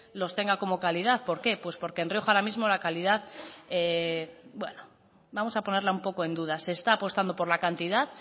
los tenga como calidad por qué porque en rioja ahora mismo la calidad bueno vamos a ponerlo un poco en duda se está apostando por la cantidad